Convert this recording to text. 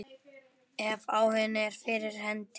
Ef áhuginn er fyrir hendi.